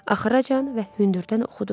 Axıracan və hündürdən oxudum.